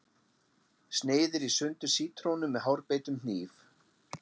Sneiðir í sundur sítrónu með hárbeittum hníf.